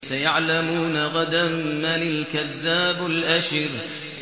سَيَعْلَمُونَ غَدًا مَّنِ الْكَذَّابُ الْأَشِرُ